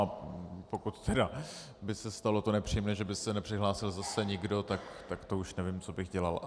A pokud tedy by se stalo to nepříjemné, že by se nepřihlásil zase nikdo, tak to už nevím, co bych dělal.